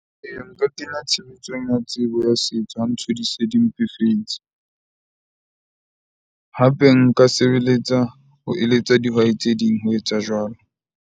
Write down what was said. Ee, nka kenya tshebetso tsebo ya setso ha ntho di se di mpefetse. Hape nka sebeletsa ho eletsa dihwai tse ding ho etsa jwalo.